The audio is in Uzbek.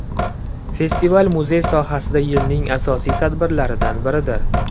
Festival muzey sohasida yilning asosiy tadbirlaridan biridir.